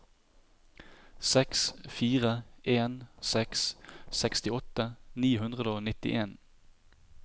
seks fire en seks sekstiåtte ni hundre og nittien